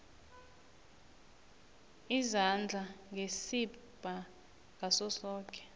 izandla ngesibha ngasosoke